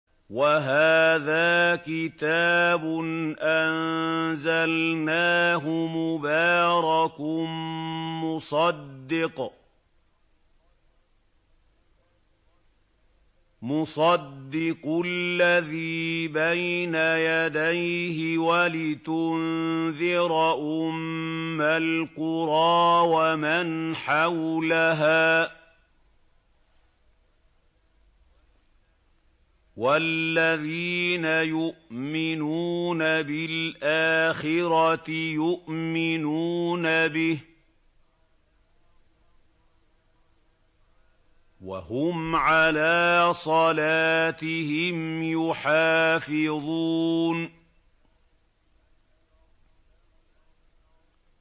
وَهَٰذَا كِتَابٌ أَنزَلْنَاهُ مُبَارَكٌ مُّصَدِّقُ الَّذِي بَيْنَ يَدَيْهِ وَلِتُنذِرَ أُمَّ الْقُرَىٰ وَمَنْ حَوْلَهَا ۚ وَالَّذِينَ يُؤْمِنُونَ بِالْآخِرَةِ يُؤْمِنُونَ بِهِ ۖ وَهُمْ عَلَىٰ صَلَاتِهِمْ يُحَافِظُونَ